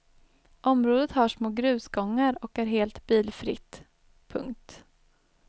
Området har små grusgångar och är helt bilfritt. punkt